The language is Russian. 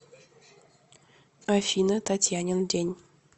афина татьянин день